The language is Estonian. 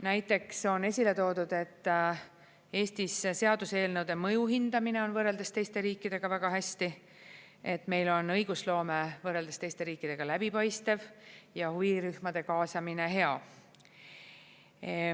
Näiteks on esile toodud, et Eestis seaduseelnõude mõju hindamine on võrreldes teiste riikidega väga hästi, et meil on õigusloome võrreldes teiste riikidega läbipaistev ja huvirühmade kaasamine hea.